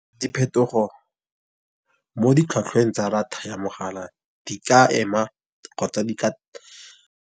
Diphetogo mo ditlhwatlhweng tsa ya mogala di ka ema kgotsa di ka.